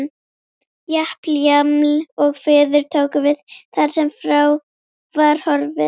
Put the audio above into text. Japl-jaml-og-fuður tóku við þar sem frá var horfið.